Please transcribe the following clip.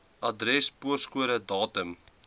adres poskode datum